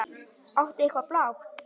Áttu eitthvað blátt?